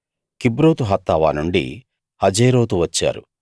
కిబ్రోతు హత్తావా నుండి హజేరోతు వచ్చారు